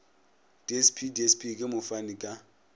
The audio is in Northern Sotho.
dsp dsp ke mofani ka